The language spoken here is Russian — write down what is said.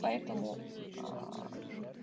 поэтому аа